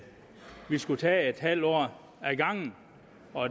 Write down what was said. vi skulle tage et halvt år ad gangen